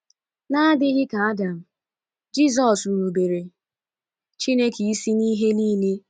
N’adịghị ka Adam, Jisọs rubeere Chineke isi n’ihe nile.